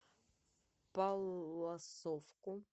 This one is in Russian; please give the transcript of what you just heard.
палласовку